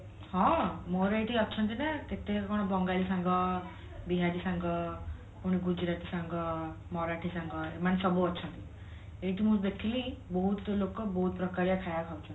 ହଁ ମୋର ଏଠି ଅଛନ୍ତି ନା କେତେକଣ ବଙ୍ଗାଳୀ ସାଙ୍ଗ ବିହାରୀ ସାଙ୍ଗ ଗୁଜୁରାତି ସାଙ୍ଗ ମରାଠୀ ସାଙ୍ଗ ଏମାନେ ସବୁ ଅଛନ୍ତି ଏଇଠି ମୁଁ ଦେଖିଲି ବହୁତ ଲୋକ ବହୁତ ପ୍ରକାରିଆ ଖାଇବା ଖାଉଛନ୍ତି